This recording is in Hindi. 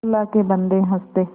अल्लाह के बन्दे हंस दे